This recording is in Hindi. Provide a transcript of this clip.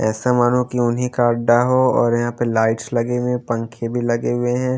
ऐसा मानो की उन्हीं का अड्डा हो और यहां पे लाइट्स लगें हुए पंखे भी लगे हुए हैं।